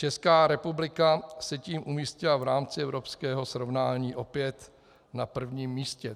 Česká republika se tím umístila v rámci evropského srovnání opět na prvním místě.